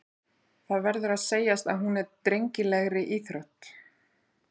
Það verður að segjast að hún er drengilegri íþrótt.